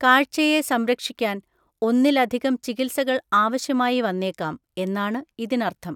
കാഴ്ചയെ സംരക്ഷിക്കാൻ ഒന്നിലധികം ചികിത്സകൾ ആവശ്യമായി വന്നേക്കാം എന്നാണ് ഇതിനർത്ഥം.